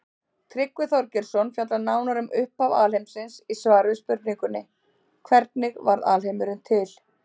Tryggvi Þorgeirsson fjallar nánar um upphaf alheimsins í svari við spurningunni Hvernig varð alheimurinn til?